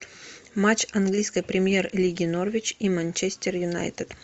матч английской премьер лиги норвич и манчестер юнайтед